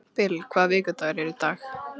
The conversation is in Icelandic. Bil, hvaða vikudagur er í dag?